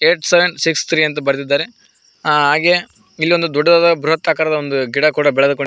ಐಟ್ seven six three ಎಂದು ಬರೆದಿದ್ದಾರೆ ಹಾಗೆ ಇಲ್ಲೊಂದು ದೊಡ್ಡದಾದ ಬೃಹತ್ ಆಕಾರದ ಗಿಡ ಕೂಡ ಬೆಳೆದುಕೊಂಡಿದೆ.